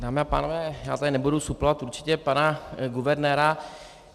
Dámy a pánové, já tady nebudu suplovat určitě pana guvernéra.